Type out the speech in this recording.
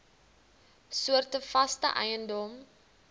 soorte vaste eiendom